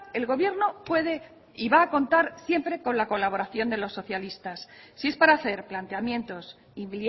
el gobierno puede y va a contar siempre con la colaboración de los socialistas si es para hacer planteamientos y